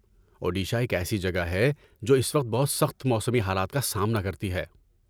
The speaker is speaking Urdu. اوڈیشہ ایک ایسی جگہ ہے، جو اس وقت بہت سخت موسمی حالات کا سامنا کرتی ہے۔